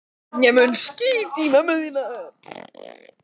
Hann fær ekki útborgað næst fyrr en eftir fimm daga.